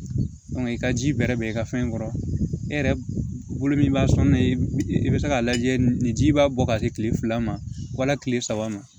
i ka ji bɛrɛ bɛ bɛn i ka fɛn kɔrɔ e yɛrɛ bolo min b'a sɔn ne i bɛ se k'a lajɛ ni ji b'a bɔ ka se kile fila ma wali kile saba ma